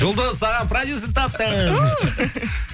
жұлдыз саған продюссер таптым